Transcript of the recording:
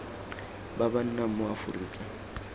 ba ba nnang mo aforika